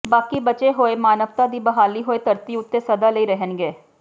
ਬਾਕੀ ਬਚੇ ਹੋਏ ਮਾਨਵਤਾ ਦੀ ਬਹਾਲੀ ਹੋਈ ਧਰਤੀ ਉੱਤੇ ਸਦਾ ਲਈ ਰਹਿਣਗੇ